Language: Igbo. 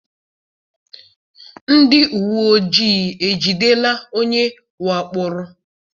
Ndị uwe ojii ejidela onye wakporo?